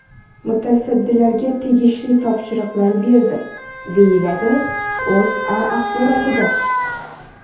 Mutasaddilarga tegishli topshiriqlar berdi”, deyiladi O‘zA axborotida.